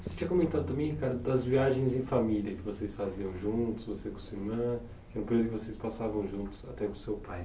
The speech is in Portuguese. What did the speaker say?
Você tinha comentado também, Ricardo, das viagens em família que vocês faziam juntos, você com sua irmã, que era um período que vocês passavam juntos, até com seu pai.